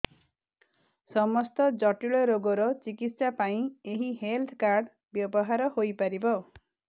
ସମସ୍ତ ଜଟିଳ ରୋଗର ଚିକିତ୍ସା ପାଇଁ ଏହି ହେଲ୍ଥ କାର୍ଡ ବ୍ୟବହାର ହୋଇପାରିବ